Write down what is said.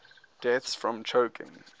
deaths from choking